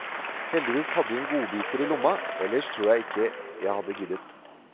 Heldigvis hadde hun godbiter i lomma, ellers tror jeg ikke jeg hadde giddet.